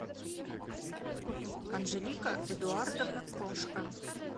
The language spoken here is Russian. анжелика эдуардовна крошка